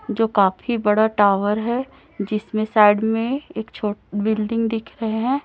जो काफी बड़ा टावर है जिसमें साइड में एक छो बिल्डिंग दिख रहे हैं।